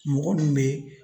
Mɔgɔ min be